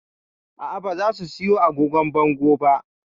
A'a ba za mu siyo agogon bango ba